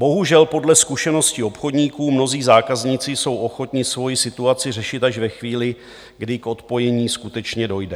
Bohužel, podle zkušeností obchodníků mnozí zákazníci jsou ochotni svoji situaci řešit až ve chvíli, kdy k odpojení skutečně dojde.